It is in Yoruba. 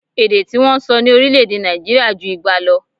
Èdè tí wọ́n ń sọ ní orílè-èdè Nàìjirià ju igba lọ